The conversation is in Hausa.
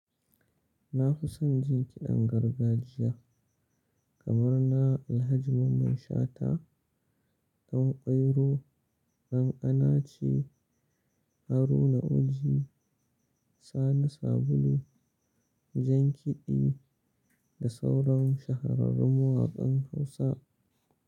Na fi son jin kiɗan gargajiya kamar na Alhaji Mamman Shata, Dan kwairo, Dan Anace, Haruna Oji, Sani Sabulu, jan kiɗi da sauran shahararrun waƙan Hausa.